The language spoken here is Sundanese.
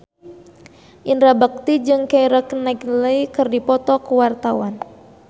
Indra Bekti jeung Keira Knightley keur dipoto ku wartawan